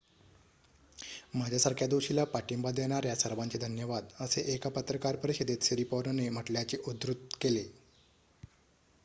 माझ्यासारख्या दोषीला पाठिंबा देणाऱ्या सर्वांचे धन्यवाद'' असे एका पत्रकार परिषदेत सिरिपॉर्नने म्हटल्याचे उद्धृत केले